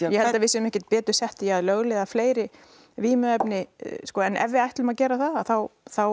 ég held við séum ekkert betur sett með því að lögleiða vímuefni en ef við ætlum að gera það þá þá